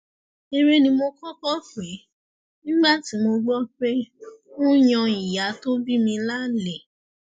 eré ni mo kọkọ pè é nígbà tí mo gbọ pé ó ń yan ìyá tó bí mi lálẹ